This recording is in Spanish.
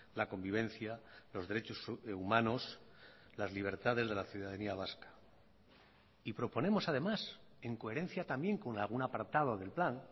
la convivencia los derechos humanos las libertades de la ciudadanía vasca y proponemos además en coherencia también con algún apartado del plan